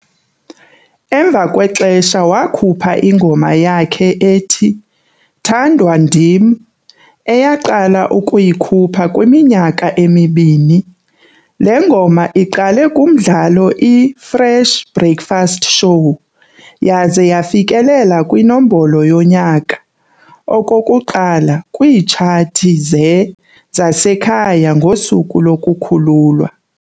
Emva kwexesha wakhupha ingoma yakhe ethi "Thandwa Ndim", eyaqala ukuyikhupha kwiminyaka emibini. Le ngoma iqale kumdlalo iFresh Breakfast Show yaze yafikelela kwiNombolo yoNyaka okokuqala kwiitshathi ze- zasekhaya ngosuku lokukhululwa.